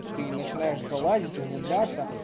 и ты начинаешь залазить углубляться